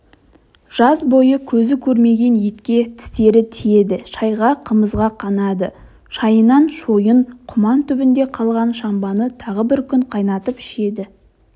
жаз бойы көзі көрмеген етке тістері тиеді шайға қымызға қанады шайынан шойын құман түбінде қалған шамбаны тағы бір күн қайнатып ішеді